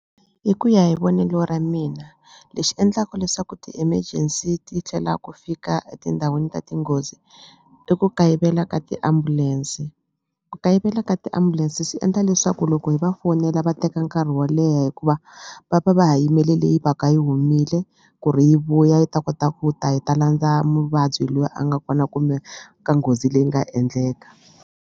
Hi ku ya hi vonelo ra mina lexi endlaku leswaku ti-emergency ti hlwela ku fika etindhawini ta tinghozi i ku kayivela ka tiambulense ku kayivela ka tiambulense swi endla leswaku loko hi va fonela va teka nkarhi wo leha hikuva va va va ha yimele leyi va ka yi humile ku ri yi vuya yi ta kota ku ta yi ta landza muvabyi loyi a nga kona kumbe ka nghozi leyi nga endleka.